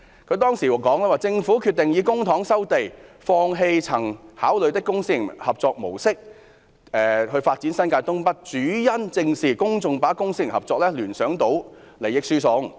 她當時說："政府決定以公帑收地，放棄曾考慮的公私營合作模式發展新界東北，主因正是公眾把公私營合作聯想到利益輸送。